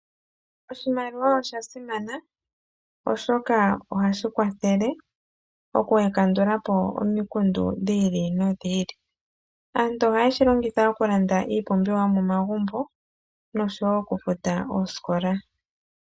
Oshimaliwa osha simana, oshoka ohashi kwathele okukandula po omikundu dhi ili nodhi ili. Aantu ohaye shi longitha okulanda iipumbiwa yo momagumbo nosho wo okufuta oosikola.